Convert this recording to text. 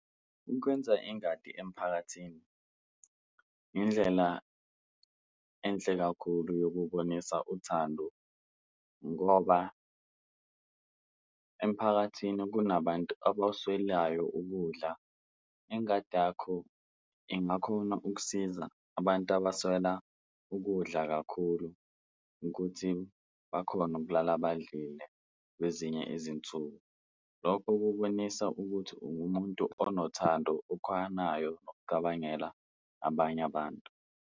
Ukwenza ingadi emphakathini indlela enhle kakhulu yokubonisa uthando ngoba emphakathini kunabantu abawuswelayo ukudla, ingadi yakho ingakhona ukusiza abantu abaswela ukudla kakhulu ukuthi bakhone ukulala badlile kwezinye izinsuku. Lokho kubonisa ukuthi ungumuntu onothando okhonayo ukucabangela abanye abantu.